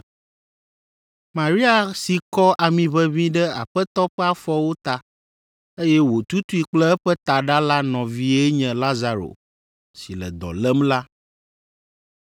(Maria si kɔ amiʋeʋĩ ɖe Aƒetɔ ƒe afɔwo ta, eye wòtutui kple eƒe taɖa la nɔvie nye Lazaro si le dɔ lém la.)